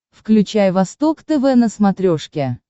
включай восток тв на смотрешке